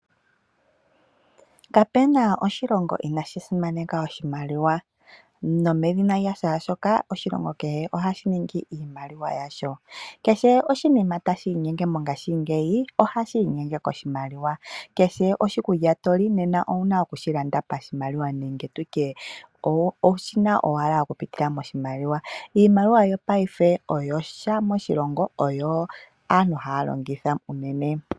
Kapena oshilongo inashi simaneka oshimaliwa nomedhina lyashaashoka oshilongo kehe ohashi ningi iimaliwa yasho. Kehe oshinima tashi inyenge mongaashingeyi ohashi inyenge koshimaliwa, kehe oshikulya toli nena owuna okushilanda pashimaliwa nenge nditye owushi na owala okupitila moshimaliwa. Iimaliwa yopaife oyo sha moshilongo oyo aantu haya longitha unene.